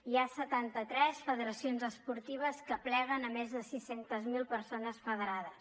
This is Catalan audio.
hi ha setanta tres federacions esportives que apleguen més de sis centes mil persones federades